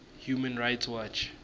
human rights watch